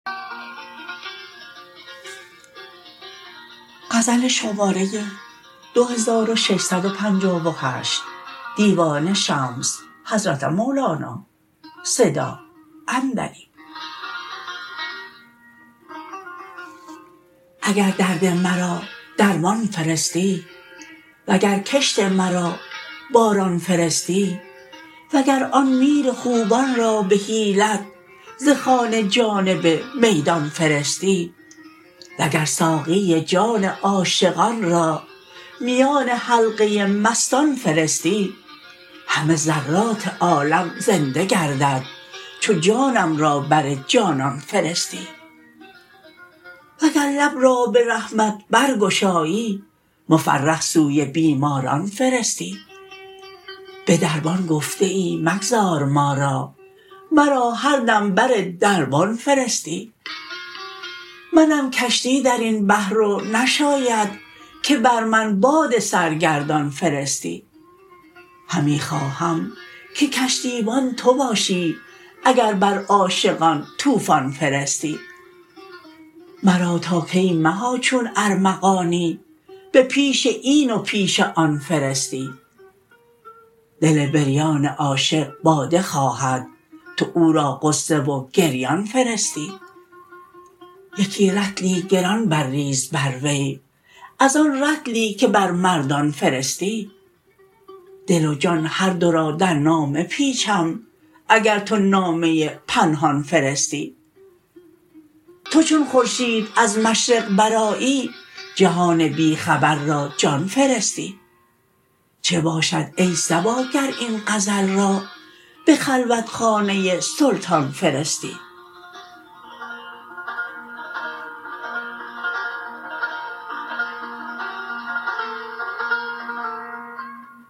اگر درد مرا درمان فرستی وگر کشت مرا باران فرستی وگر آن میر خوبان را به حیلت ز خانه جانب میدان فرستی وگر ساقی جان عاشقان را میان حلقه مستان فرستی همه ذرات عالم زنده گردد چو جانم را بر جانان فرستی وگر لب را به رحمت برگشایی مفرح سوی بیماران فرستی به دربان گفته ای مگذار ما را مرا هر دم بر دربان فرستی منم کشتی در این بحر و نشاید که بر من باد سرگردان فرستی همی خواهم که کشتیبان تو باشی اگر بر عاشقان طوفان فرستی مرا تا کی مها چون ارمغانی به پیش این و پیش آن فرستی دل بریان عاشق باده خواهد تو او را غصه و گریان فرستی یکی رطلی گران برریز بر وی از آن رطلی که بر مردان فرستی دل و جان هر دو را در نامه پیچم اگر تو نامه پنهان فرستی تو چون خورشید از مشرق برآیی جهان بی خبر را جان فرستی چه باشد ای صبا گر این غزل را به خلوتخانه سلطان فرستی